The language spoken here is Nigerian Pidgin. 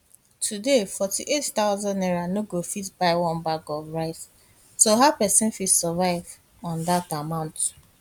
today n48000 no go fit buy one bag of rice so how pesin fit survive on dat amount